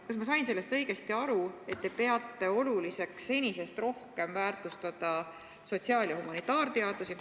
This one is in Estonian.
Kas ma sain sellest õigesti aru, et te peate oluliseks senisest rohkem väärtustada sotsiaal- ja humanitaarteadusi?